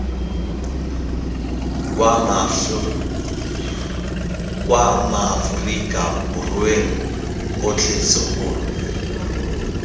kwa maaforika borweng otlhe segolo